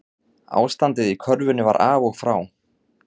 Ástandið í körfunni var af og frá